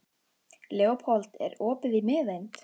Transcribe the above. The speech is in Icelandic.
Leópold, er opið í Miðeind?